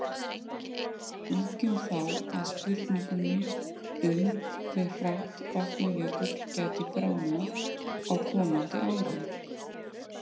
Víkjum þá að spurningunni um hve hratt Vatnajökull gæti bráðnað á komandi árum.